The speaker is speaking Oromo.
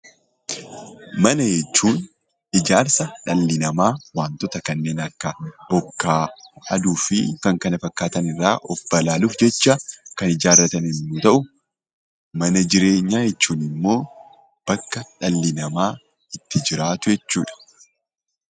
Mana jechuun ijaarsa dhalli namaa wantoota kanneen akka bokkaa aduufi kan kana fakkaatan irraa of baraaruuf jecha kan ijaarratan yommuu ta'u, mana jireenyaa jechuunimmoo bakka dhalli namaa itti jiraatu jechuudha.